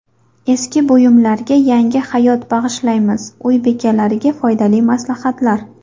Eski buyumlarga yangi hayot bag‘ishlaymiz: uy bekalariga foydali maslahatlar.